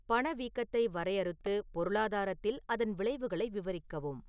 பணவீக்கத்தை வரையறுத்து பொருளாதாரத்தில் அதன் விளைவுகளை விவரிக்கவும்